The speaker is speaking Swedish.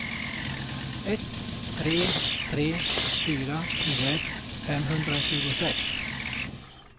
ett tre tre fyra tjugoett femhundratjugosex